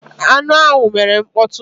Aṅụ ahụ mere mkpọtụ.